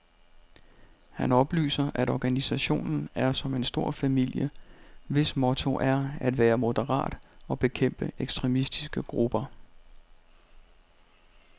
Han oplyser, at organisationen er som en stor familie, hvis motto er at være moderat og bekæmpe ekstremistiske grupper.